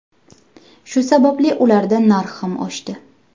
Shu sababli ularda narx ham oshdi.